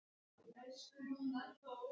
Hvíl í friði, elsku Lúther.